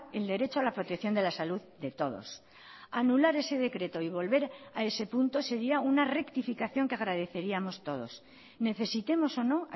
el derecho a la protección de la salud de todos anular ese decreto y volver a ese punto sería una rectificación que agradeceríamos todos necesitemos o no